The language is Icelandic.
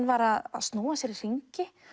var að snúa sér í hringi